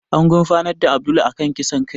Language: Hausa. An gurfanar da Abdul a kan kisan kai